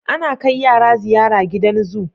Ana kai yara ziyara gidan zoo